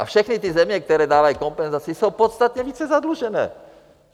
A všechny ty země, které dávají kompenzaci, jsou podstatně více zadlužené.